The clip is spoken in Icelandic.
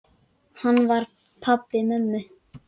Hann var pabbi mömmu.